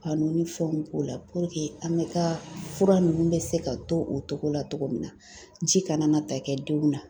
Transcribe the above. Ka nunnu fɛnw k'o la an bɛɛ ka fura nunnu bɛ se ka to o togo la togo min na ji kana na taa kɛ denw na.